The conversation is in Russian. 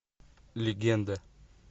легенда